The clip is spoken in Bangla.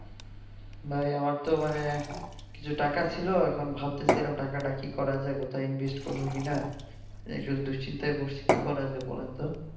ভাই আমার তো মানে কিছু টাকা ছিল এখুন ভাবতেছি এখুন টাকাটা কি করা যায় কোথায় invest করবো কি না এতো দুশ্চিন্তায় পড়েছি কি করা যায়?